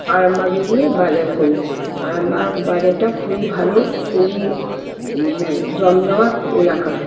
আরামবাগে গিয়ে বাজার করি। আরামবাগ বাজারটা খুবই ভালো খুবই ম জমজমাট এলাকা।